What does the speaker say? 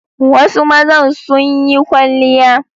Wasu mazan sun yi kwalliya.